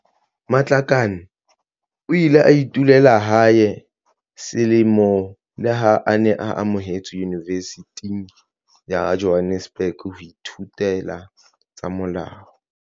Matlakane o ile a dula hae selemo leha a ne a amohetswe Yunivesithing ya Johannesburg ho ithutela tsa molao.